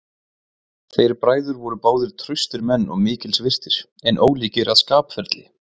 Þeir bræður voru báðir traustir menn og mikils virtir, en ólíkir að skapferli.